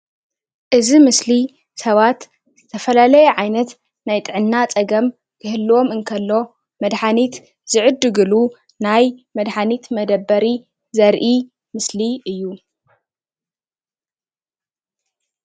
እዚ ምስሊ ሰባት ዝተፈላለየ ዓይነት ናይ ጥዕና ፀገም ክህልዎም እንተሎ መድሓኒት ዝዕድግሉ ናይ መድሓኒት መደበሪ ዘርኢ ምስሊ እዩ::